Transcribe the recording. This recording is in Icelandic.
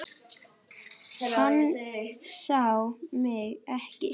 Hann sá mig ekki.